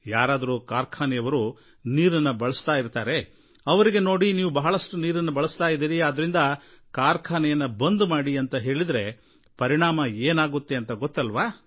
ಯಾರಾದರೂ ಕಾರ್ಖಾನೆಯವರು ನೀರನ್ನು ಬಳಸ್ತಾ ಇರ್ತಾರೆ ಅವರಿಗೆ ನೋಡಿ ನೀವು ಬಹಳಷ್ಟು ನೀರನ್ನು ಬಳಸ್ತಾ ಇದ್ದೀರಿ ಆದ್ರಿಂದ ಕಾರ್ಖಾನೆಯನ್ನು ಬಂದ್ ಮಾಡಿ ಅಂತ ಹೇಳಿದರೆ ಪರಿಣಾಮ ಏನಾಗುತ್ತೆ ಅಂತ ಗೊತ್ತಲ್ವಾ